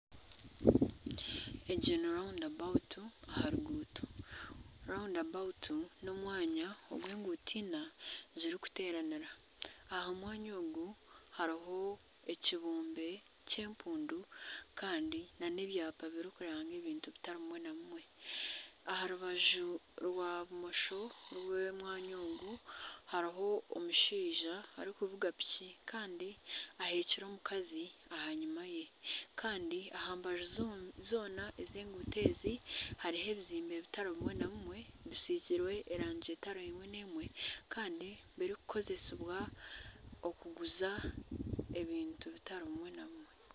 Egi ni raunda aha ruguuto. Raunda n'omwanya ahu enguuto ina zirikuteeranira. Aha mwanya ogu hariho ekibumbe ky'empundu kandi n'ebyapa birikuranga ebintu bitari bimwe na bimwe. Aha rubaju rwa bumosho rw'omwanya ogu hariho omushaija arikuvuga piki kandi aheekire omukazi aha nyuma ye. Kandi aha mbaju zoona ez'enguuto ezi hariho ebizimbe bitari bimwe na bimwe bisiigirwe erangi etari emwe n'emwe. Kandi birikukozesebwa okuguza ebintu bitari bimwe na bimwe.